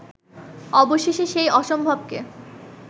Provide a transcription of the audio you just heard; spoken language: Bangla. অবশেষে সেই অসম্ভবকে